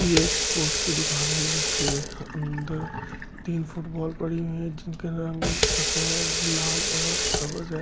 ये एक स्पोर्ट्स की दुकान है जिसके अंदर तीन फुटबॉल पड़ी हुई है जिनके रंग सफेद लाल और सब्ज --